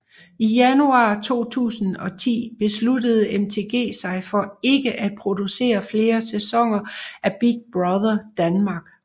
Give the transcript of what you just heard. I januar 2010 besluttede MTG sig for ikke at producere flere sæsoner af Big Brother Danmark